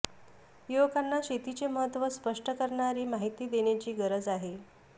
युवकांना शेतीचे महत्त्व स्पष्ट करणारी माहिती देण्याची गरज आहे